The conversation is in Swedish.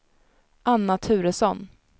Anna Turesson